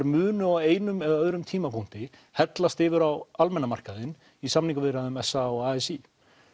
munu á einum eða öðrum tímapunkti hellast yfir á almenna markaðinn í samningaviðræðum s a og a s í